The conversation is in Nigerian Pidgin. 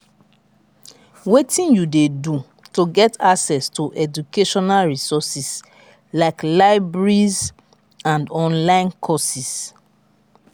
wetin you dey do to get access to educational resources like libraries and online courses?